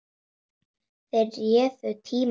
Þeir réðu tíma hans.